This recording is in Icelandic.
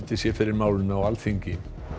sé fyrir málinu á Alþingi